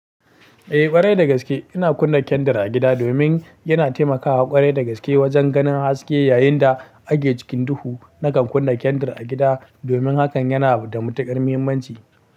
Eh, ƙwarai da gaske ina kunna kyandir a gida domin yana taimakawa, ƙwarai da gaske wajen ganin haske yayin da ake cikin duhu. Nakan kunna kyandir a gida domin hakan yana da matuƙar muhimmanci.